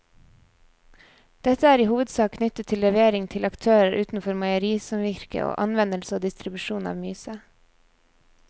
Dette er i hovedsak knyttet til levering til aktører utenfor meierisamvirket og anvendelse og distribusjon av myse.